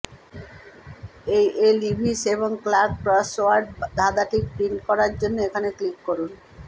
এই এল ইভিস এবং ক্লার্ক ক্রসওয়ার্ড ধাঁধাটি প্রিন্ট করার জন্য এখানে ক্লিক করুন